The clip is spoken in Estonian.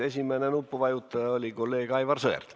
Esimene nupuvajutaja oli kolleeg Aivar Sõerd.